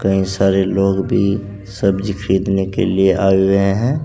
कई सारे लोग भी सब्जी खरीदने के लिए आए हुए हैं।